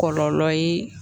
Kɔlɔlɔ ye